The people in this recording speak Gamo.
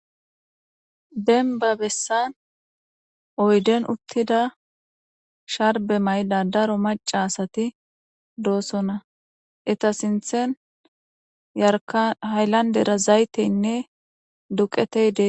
Denba bessan oyden uttida sharbe maydadaro maca asati doosona eta sinthen yarka haylandera zayteynne duqeteyde.